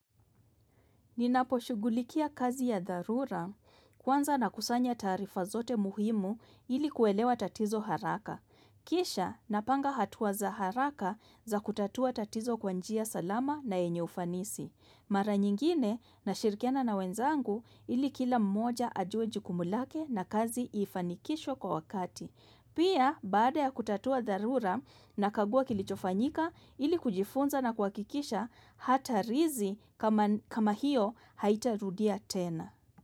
Ninapo shugulikia kazi ya dharura kwanza na kusanya tarifa zote muhimu ili kuelewa tatizo haraka. Kisha napanga hatuwa za haraka za kutatua tatizo kwanjia salama na enye ufanisi. Mara nyingine na shirikiana na wenzangu ili kila mmoja ajue jukumulake na kazi ifanikishwa kwa wakati. Pia baada ya kutatua dharura na kagua kilichofanyika ili kujifunza na kwa kikisha hata rizi kama hiyo haitarudia tena.